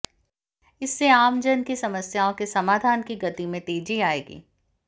इससे आमजन की समस्याओं के समाधान की गति में तेजी आएगी